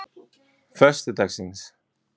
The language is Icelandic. föstudagsins